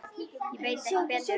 Ég veit ekki betur.